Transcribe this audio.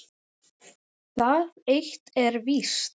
Það eitt er víst.